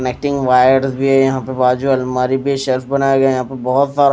connecting wires भी हैं यहां पे बाजू अलमारी पे शेल्फ बनाए गए हैं यहां पे बहुत सारा --